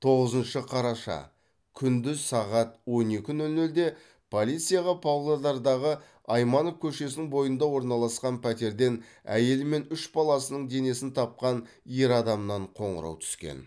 тоғызыншы қараша күндіз сағат он екі нөл нөлде полицияға павлодардағы айманов көшесінің бойында орналасқан пәтерден әйелі мен үш баласының денесін тапқан ер адамнан қоңырау түскен